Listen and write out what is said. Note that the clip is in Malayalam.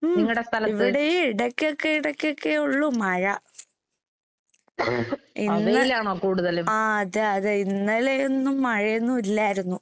ഉം ഇവടേം ഇടയ്ക്കൊക്കെ ഇടയ്ക്കൊക്കേ ഒള്ളു മഴ. ഇന്ന് ആഹ് അതെ അതെ ഇന്നലെയൊന്നും മഴയൊന്നും ഇല്ലായിരുന്നു.